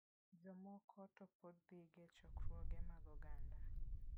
Jomoko to pod dhiga e chokruoge mag oganda.